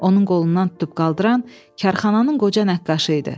Onun qolundan tutub qaldıran karxananın qoca nəqqaşı idi.